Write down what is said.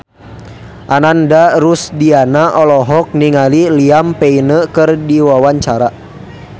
Ananda Rusdiana olohok ningali Liam Payne keur diwawancara